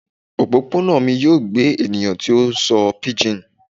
Opopona mi yoo gbe eniyan ti o sọ pidgin